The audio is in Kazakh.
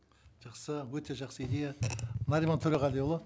жақсы өте жақсы идея нариман төреғалиұлы